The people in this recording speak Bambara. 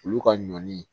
Olu ka ɲɔn ni